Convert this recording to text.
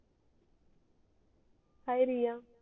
हाय Riya